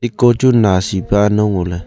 hiko chu nasi pa ano ngoley.